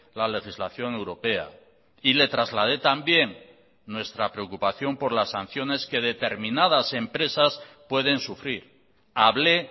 la legislación europea y le trasladé también nuestra preocupación por las sanciones que determinadas empresas pueden sufrir hablé